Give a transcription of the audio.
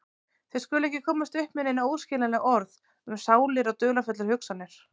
Þau skulu ekki komast upp með nein óskiljanleg orð um sálir og dularfullar hugsanir.